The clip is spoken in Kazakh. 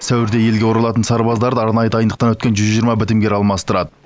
сәуірде елге оралатын сарбаздарды арнайы дайындықтан өткен жүз жиырма бітімгер алмастырады